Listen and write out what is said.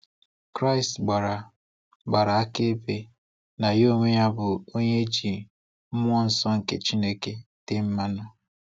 Kraist gbara gbara akaebe na Ya onwe ya bu "Onye e ji Mmụọ Nsọ nke Chineke tee mmanụ".